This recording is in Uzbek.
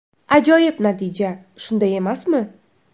Ajoyib natija, shunday emasmi?